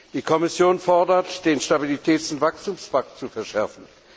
Die Kommission fordert, den Stabilitäts und Wachstumspakt zu verschärfen.